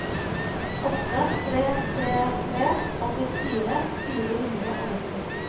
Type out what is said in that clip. åtte tre tre tre åttifire fire hundre og nitti